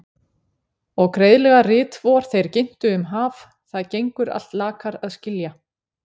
Og greiðlega rit vor þeir ginntu um haf- það gengur allt lakar að skilja.